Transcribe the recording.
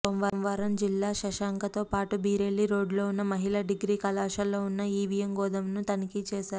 సోమవారం జిల్లా శశాంకతో పాటు బిరెల్లి రోడ్డులో ఉన్న మహిళ డిగ్రీ కళాశాలో ఉన్న ఇవియం గోదామును తనిఖీలు చేశారు